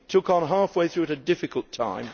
you took over halfway through at a difficult time.